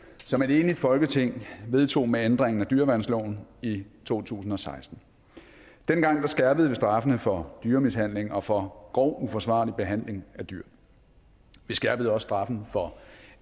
som et enigt folketing vedtog med ændringen af dyreværnsloven i to tusind og seksten dengang skærpede vi straffene for dyremishandling og for grov uforsvarlig behandling af dyr vi skærpede også straffen for